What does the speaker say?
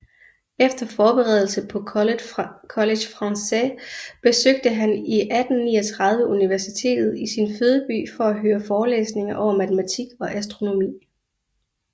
Efter forberedelse på College Français besøgte han 1839 universitetet i sin fødeby for at høre forelæsninger over matematik og astronomi